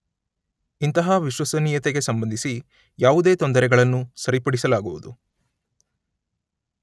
ಇಂತಹ ವಿಶ್ವಸನೀಯತೆಗೆ ಸಂಬಂಧಿಸಿ ಯಾವುದೇ ತೊಂದರೆಗಳನ್ನು ಸರಿಪಡಿಸಲಾಗುವುದು